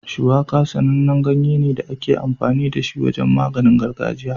Shuwaka sanannen ganye ne da ake amfani da shi wajen maganin gargajiya.